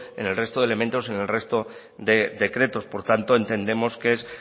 en el resto de elementos en el resto de decretos por tanto entendemos que es